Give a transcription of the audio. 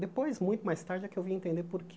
Depois, muito mais tarde, é que eu vim entender por quê.